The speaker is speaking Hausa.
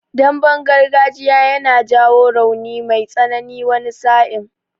Damben gargajiya yana jawo rauni mai tsanani wani sa'in.